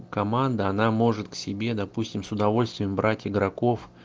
команда она может к себе допустим с удовольствием брать игроков